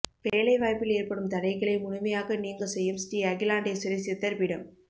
வேலைவாய்ப்பில் ஏற்படும் தடைகளை முழுமையாக நீங்க செய்யும் ஸ்ரீ அகிலாண்டேஸ்வரி சித்தர் பீடம்